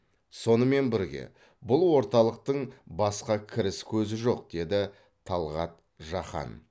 сонымен бірге бұл орталықтың басқа кіріс көзі жоқ деді талғат жақан